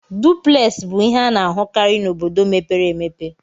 Duplex bụ ihe a na-ahụkarị n'obodo mepere emepe.